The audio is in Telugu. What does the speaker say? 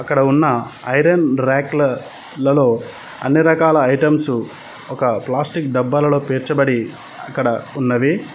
ఇక్కడ ఉన్న ఐరన్ ర్యకుల లలో అన్ని రకాల ఐటమ్స్సు ఒక ప్లాస్టిక్ డబ్బాలలో పేర్చబడి అక్కడ ఉన్నవి.